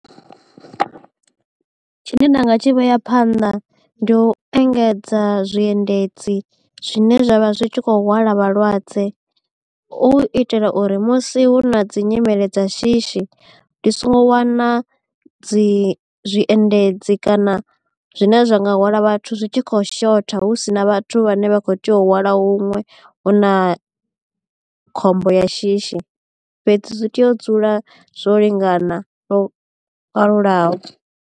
Tshine nda nga tshi vhea phanḓa ndi u engedza zwiendedzi zwine zwa vha zwi tshi kho hwala vhalwadze u itela uri musi hu na dzi nyimele dza shishi ndi songo wana dzi zwi endedzi kana zwine zwa nga hwala vhathu zwi tshi khou shotha hu si na vhathu vhane vha kho tea u hwala huṅwe hu na khombo ya shishi fhedzi zwi tea u dzula zwo lingana lwo kalulaho.